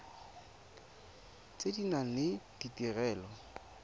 tse di nang le ditirelo